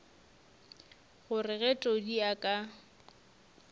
gore ge todi a ka